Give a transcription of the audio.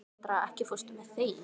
Kendra, ekki fórstu með þeim?